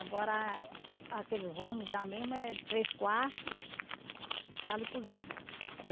Agora, a que eles vão me dar mesmo é três quartos, sala e cozinha.